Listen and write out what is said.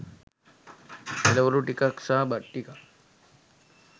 එළවලු ටිකක් සහ බත් ටිකක්